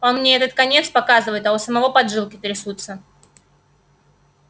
он мне этот конец показывает а у самого поджилки трясутся